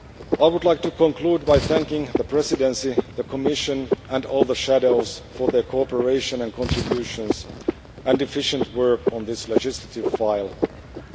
I would like to conclude by thanking the Presidency, the Commission and all the shadow rapporteurs for their cooperation and their contributions to and efficient work on this legislative proposal.